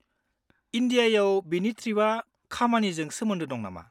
इन्डियायाव बिनि ट्रिपआ खामानिजों सोमोन्दो दं नामा?